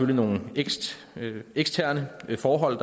nogle eksterne forhold